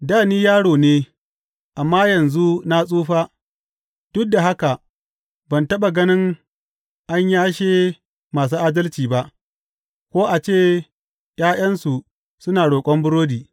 Dā ni yaro ne amma yanzu na tsufa, duk da haka ban taɓa ganin an yashe masu adalci ba ko a ce ’ya’yansu suna roƙon burodi.